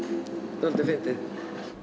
dálítið fyndið